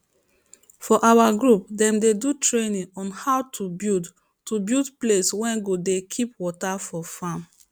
for our group dem dey do training on how to build to build place wey go dey keep water for farm